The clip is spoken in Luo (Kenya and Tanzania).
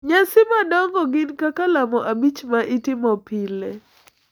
Nyasi madongo gin kaka lamo abich ma itimo pile,